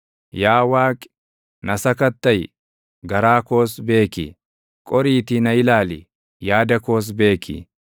Yaa Waaqi, na sakattaʼi; garaa koos beeki; qoriitii na ilaali; yaada koos beeki.